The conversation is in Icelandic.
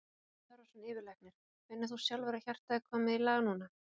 Bjarni Torfason, yfirlæknir: Finnur þú sjálfur að hjartað er komið í lag núna?